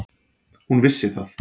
Hún vissi það.